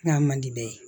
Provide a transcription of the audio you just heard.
N'a man di bɛɛ ye